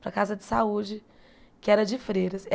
Para a casa de saúde, que era de Freiras.